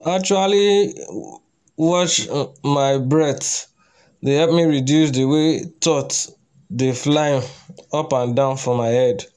to actually watch um my um breath dey help me reduce the way thoughts dey fly um up and down for my head